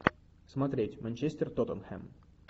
смотреть манчестер тоттенхэм